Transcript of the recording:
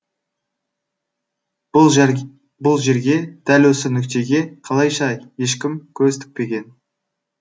бұл жерге дәл осы нүктеге қалайша ешкім көз тікпеген